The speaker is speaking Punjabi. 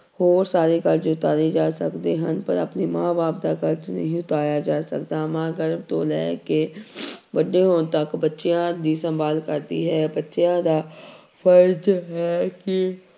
ਹੋਰ ਸਾਰੇ ਕਰਜ਼ੇ ਉਤਾਰੇ ਜਾ ਸਕਦੇ ਹਨ ਪਰ ਆਪਣੇ ਮਾਂ ਬਾਪ ਦਾ ਕਰਜ਼ ਨਹੀਂ ਉਤਾਰਿਆ ਜਾ ਸਕਦਾ ਮਾਂ ਗਰਭ ਤੋਂ ਲੈ ਕੇ ਵੱਡੇ ਹੋਣ ਤੱਕ ਬੱਚਿਆਂ ਦੀ ਸੰਭਾਲ ਕਰਦੀ ਹੈ ਬੱਚਿਆਂ ਦਾ ਫ਼ਰਜ਼ ਹੈ ਕਿ